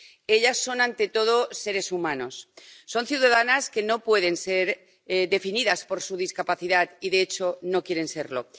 Ellas son, ante todo, seres humanos. Son ciudadanas que no pueden ser definidas por su discapacidad y, de hecho, no quieren serlo.